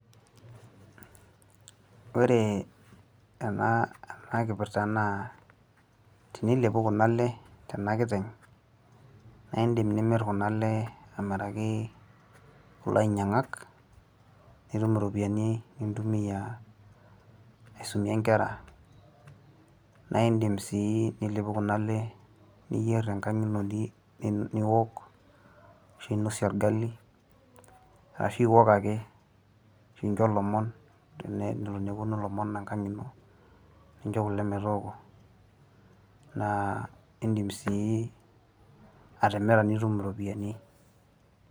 Ore ena kipirta naa tenilepu Kuna le tena kiteng', naa indim nimir Kuna lee enkaraki loinyang'ak, nitumie iropiani nintumia aisumie inkera. Naa indim sii nilepu Kuna lee niyer te enkang' ino niok, ninosie olgali, ashu iok ake, nincho ilomon tenelo newuonu ilomon enkang' ino nincho kuleetooko, naa indim sii atimira nitum iropiani.